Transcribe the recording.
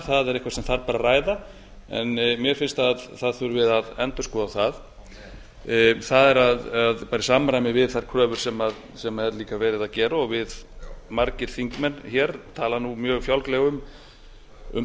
það er eitthvað sem þarf bara að ræða mér finnst að það þurfi að endurskoða það það er í samræmi við þær kröfur sem er líka verið að gera og við margir þingmenn hér tala mjög fjálglega um persónukosningar